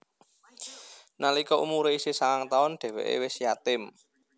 Nalika umure isih sangang taun dheweke wis yatim